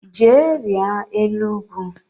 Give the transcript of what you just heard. Jee rịa elu ugwu